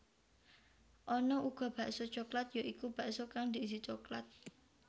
Ana uga bakso coklat ya iku bakso kang diisi coklat